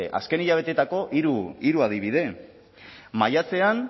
azken hilabeteetako hiru adibide maiatzean